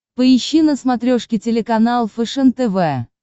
поищи на смотрешке телеканал фэшен тв